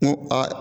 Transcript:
N ko a